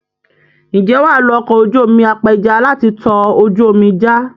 Ǹjẹ́ wà á lo ọkọ̀ ojú omi apẹja láti tọ ojú omi já?